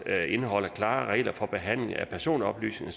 indeholder klare regler for behandling af personoplysninger